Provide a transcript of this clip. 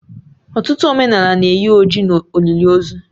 Ọtụtụ omenala na-eyi oji n'olili ozu